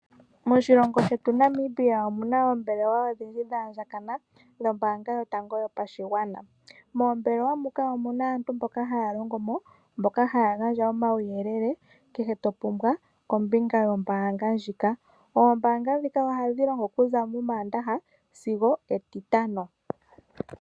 Moshilongo shetu Namibia omuna oombelewa odhindji dha andjakana, ngashi oFNB, moombelewa muka omuna aantu mboka haya longo mo, mboka haya gandja omauyelele kehe to pumbwa kombinga yombanga ndjika. Oombanga dhika ohadhi longo okuza moomandaha sigo etitano.